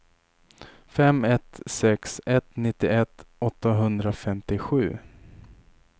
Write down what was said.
fem ett sex ett nittioett åttahundrafemtiosju